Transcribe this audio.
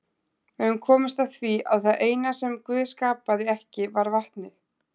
Við höfum komist að því að það eina sem Guð skapaði ekki var vatnið.